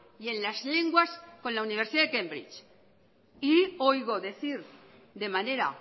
y en las lenguas con la universidad de cambridge y oigo decir de manera